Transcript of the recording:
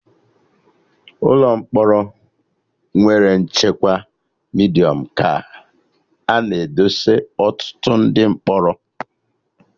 Ụlọ mkpọrọ nwere nchekwa Midiọm ka a na edesa ọtụtụ ndị mkpọrọ